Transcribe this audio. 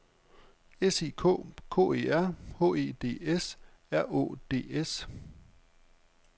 S I K K E R H E D S R Å D S